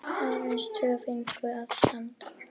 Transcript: Aðeins tvö fengu að standa.